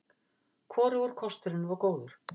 Hvorugur kosturinn var góður.